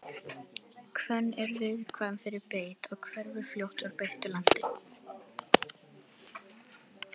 hvönn er viðkvæm fyrir beit og hverfur fljótt úr beittu landi